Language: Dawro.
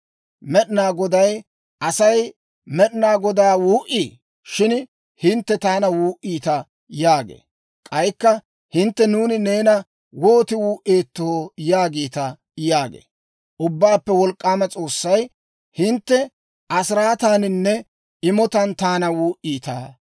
Med'ina Goday, «Asay Med'ina Godaa wuu"ii? Shin hintte taana wuu"iita» yaagee. K'aykka hintte, «Nuuni neena wooti wuu"eettoo? yaagiita» yaagee. Ubbaappe Wolk'k'aama S'oossay, «Hintte asiraataaninne imotaan taana wuu"iita.